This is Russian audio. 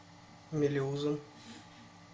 мелеузом